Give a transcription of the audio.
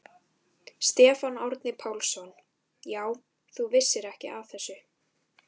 Stefán Árni Pálsson: Já, þú vissir ekki af þessu?